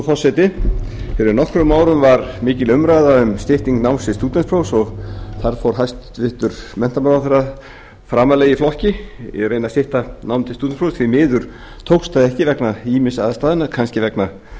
forseti fyrir nokkrum árum var mikil umræða um styttingu náms til stúdentsprófs og þar fór hæstvirtur menntamálaráðherra framarlega í flokki í að reyna að stytta nám til stúdentsprófs því miður tókst það ekki vegna ýmissa aðstæðna kannski vegna